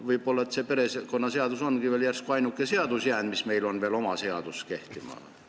Kas probleem on see, et äkki perekonnaseadus ongi veel meie ainuke oma seadus, mis meil kehtib?